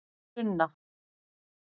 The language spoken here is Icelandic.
Sunna